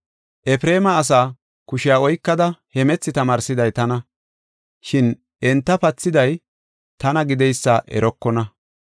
Efreema asaa kushiya oykada hemethi tamaarsiday tana, shin enta pathiday tana gideysa erokona.